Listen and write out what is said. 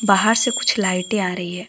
बाहर से कुछ लाइटें आ रही है।